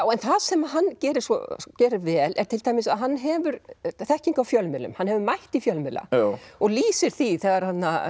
en það sem hann gerir gerir vel er til dæmis að hann hefur þekkingu á fjölmiðlum hann hefur mætt í fjölmiðla og lýsir því þegar